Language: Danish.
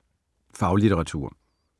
Faglitteratur